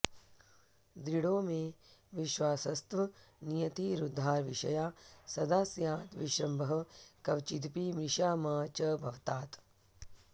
दृढो मे विश्वासस्तव नियतिरुद्धारविषया सदा स्याद् विश्रम्भः क्वचिदपि मृषा मा च भवतात्